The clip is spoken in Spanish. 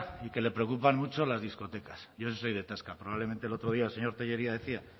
y que le preocupan mucho las discotecas yo en eso soy de tasca probablemente el otro día el señor tellería decía